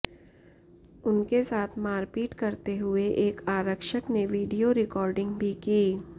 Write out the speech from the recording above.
उनके साथ मारपीट करते हुए एक आरक्षक ने वीडियो रिकार्डिंग भी की